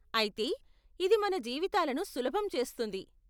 అయితే, ఇది మన జీవితాలను సులభం చేస్తుంది .